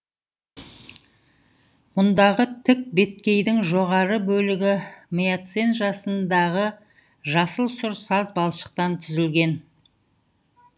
мұндағы тік беткейдің жоғары бөлігі миоцен жасындағы жасыл сұр саз балшықтан түзілген